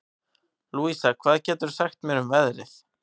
Louisa, hvað geturðu sagt mér um veðrið?